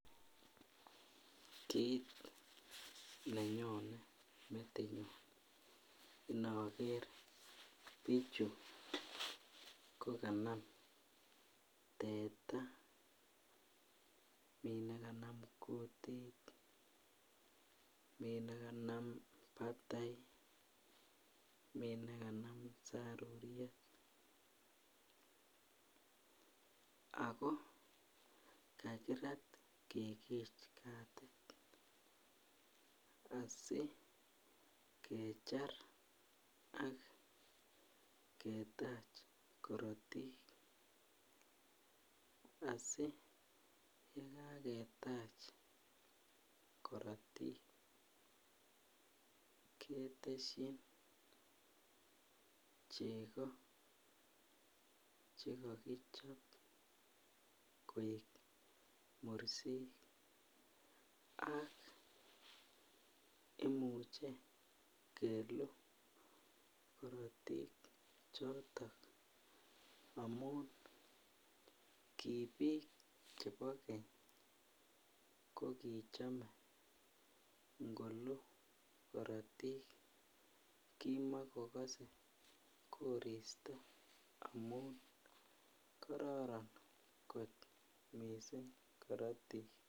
Kit nenyone metinyun ndoger bichu kokanam teta mi nekanam kutit mi nikanam batai mi nekanam saruriet ago kakirat kikich katit asi kechar ak ketach korotik asi ye kaketach korotik ketesyin cheko chekokichob koek mursik ak imuche keluu korotik chotok amun ki bik chebo keny kokichome ngolu korotik kimokokose koristo amun kororon kot mising korotik.